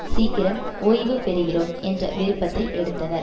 சீக்கிரம் ஓய்வு பெறுகிறோம் என்ற விருப்பத்தை எடுத்தனர்